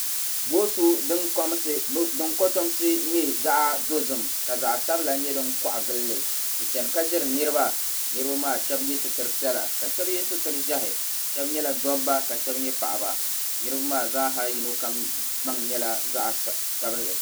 Boosu din kotomsi nyɛ zaɣa dozim ka zaɣa sabila nyɛ din kɔɣa gilli di chana ka ʒiri niriba niriba maa shɛba yɛ sitira piɛla ka shɛba yɛ sitira ʒiɛhi shɛba nyɛla dɔbba ka shɛba nyɛ paɣaba niriba maa zaa ha yino kam gbaŋ nyɛla zaɣa sabinli.